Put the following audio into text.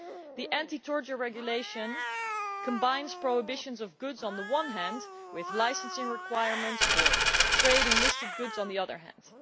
The anti torture regulation combines prohibitions of goods on the one hand with licensing requirements for trade in listed goods on the other hand.